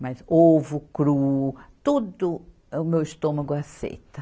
mas ovo cru, tudo o meu estômago aceita.